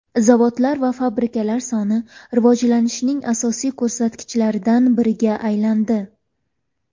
Zavodlar va fabrikalar soni rivojlanishning asosiy ko‘rsatkichlaridan biriga aylandi.